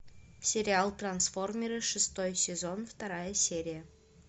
сериал трансформеры шестой сезон вторая серия